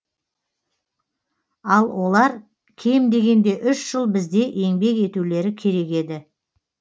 ал олар кем дегенде үш жыл бізде еңбек етулері керек еді